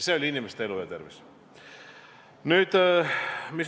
See oli inimeste elu ja tervis.